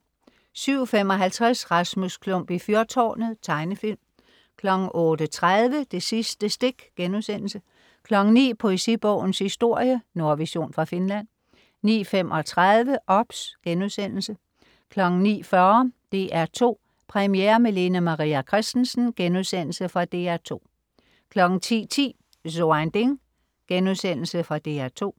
07.55 Rasmus Klump i fyrtårnet. Tegnefilm 08.30 Det sidste stik* 09.00 Poesibogens historie. Nordvision fra Finland 09.35 OBS* 09.40 DR2 Premiere med Lene Maria Christensen.* Fra DR2 10.10 So ein Ding.* Fra DR2